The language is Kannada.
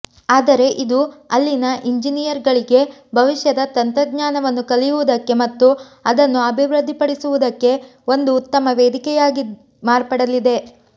ಆದರೆ ಇದು ಅಲ್ಲಿನ ಇಂಜಿನಿಯರ್ ಗಳಿಗೆ ಭವಿಷ್ಯದ ತಂತ್ರಜ್ಞಾನವನ್ನು ಕಲಿಯುವುದಕ್ಕೆ ಮತ್ತು ಅದನ್ನು ಅಭಿವೃದ್ಧಿಪಡಿಸುವುದಕ್ಕೆ ಒಂದು ಉತ್ತಮ ವೇದಿಕೆಯಾಗಿ ಮಾರ್ಪಡಲಿದೆ